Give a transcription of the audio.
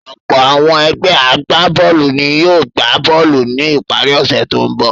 Ọ̀pọ̀ àwọn ẹgbẹ́ agbá-bọ́ọ́lù ni yóò gbá bọ́ọ́lù ní ìparí ọ̀sẹ̀ tó ń bọ̀.